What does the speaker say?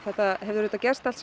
þá hefur þetta gerst allt